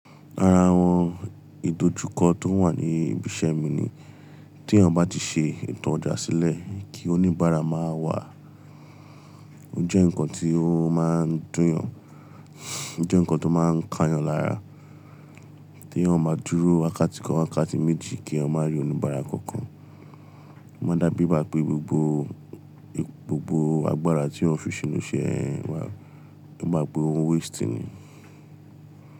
Ara àwọn ìdojúkọ tó wà ní ibi iṣẹ́ mi ni tí ènìyàn bá ti ṣe ìtàn ọjà sílẹ̀ kí oníbàárà máa wá. Ó jẹ́ ǹkan tó máa ń dùn yàn, ó jẹ́ ǹkan tó máa ń ká yàn lára. Tí ènìyàn máa dúró wákàtí kan, wákàtí méjì kí ènìyàn máa rí oníbàárà kankan. Ó máa dàbí bá pé gbogbo, gbogbo agbára tí ènìyàn fi sínú iṣẹ́ wà, bi igba pe òun wasting ni.